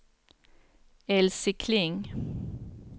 Elsie Kling